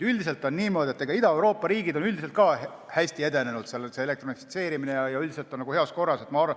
Üldiselt on niimoodi, et Ida-Euroopa riigid on hästi edenenud, seal on see elektronifitseerimine heas korras.